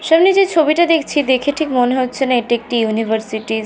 সামনে যে ছবিটা দেখছি দেখে ঠিক মনে হচ্ছে না এটি একটি ইউনিভার্সিটির --